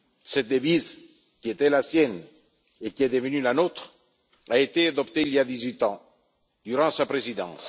Cette devise, qui était la sienne et qui est devenue la nôtre, a été adoptée il y a dix huit ans, durant sa présidence.